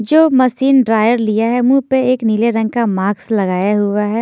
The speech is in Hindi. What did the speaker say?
जो मशीन ड्रायर लिया है मुंह पे एक नीले रंग का मास्क लगाया हुआ है।